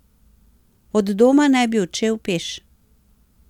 Od doma naj bi odšel peš.